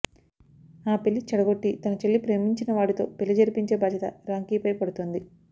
ఆ పెళ్లి చెడగొట్టి తన చెల్లి ప్రేమించిన వాడితో పెళ్లి జరిపించే బాధ్యత రాంకీపై పడుతుంది